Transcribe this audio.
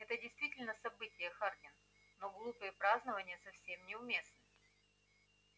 это действительно событие хардин но глупые празднования совсем не уместны